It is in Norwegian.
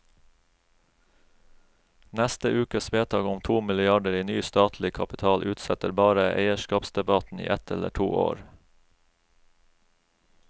Neste ukes vedtak om to milliarder i ny statlig kapital utsetter bare eierskapsdebatten i ett eller to år.